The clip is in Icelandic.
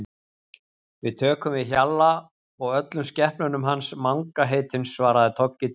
Við tökum við Hjalla og öllum skepnunum hans Manga heitins svaraði Toggi drjúgur.